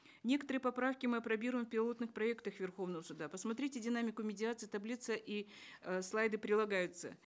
некоторые поправки мы апробируем в пилотных проектах верховного суда посмотрите динамику медиации таблица и э слайды прилагаются